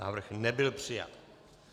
Návrh nebyl přijat.